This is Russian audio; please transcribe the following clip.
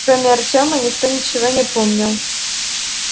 кроме артема никто ничего не помнил